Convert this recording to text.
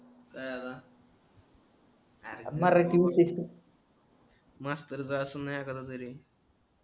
कशाला आर मास्तरच अस्लना एखादा तरी